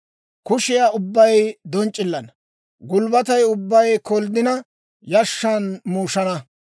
Kushiyaa ubbay donc'c'ilana; gulbbatay ubbay kolddina yashshan muushana.